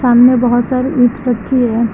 इनमें बहोत सारे ईट रखी है।